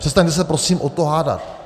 Přestaňme se prosím o to hádat.